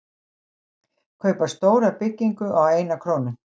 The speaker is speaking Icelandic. Kaupa stóra byggingu á eina krónu